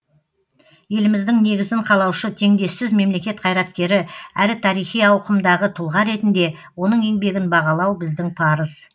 еліміздің негізін қалаушы теңдессіз мемлекет қайраткері әрі тарихи ауқымдағы тұлға ретінде оның еңбегін бағалау біздің парыз